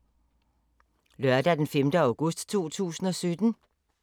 Lørdag d. 5. august 2017